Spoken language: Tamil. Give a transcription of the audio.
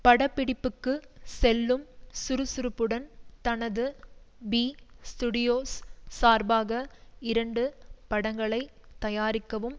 பட பிடிப்புக்கு செல்லும் சுறுசுறுப்புடன் தனது பி ஸ்டுடியோஸ் சார்பாக இரண்டு படங்களை தயாரிக்கவும்